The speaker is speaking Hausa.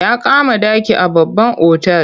Ya kama ɗaki a babban otal.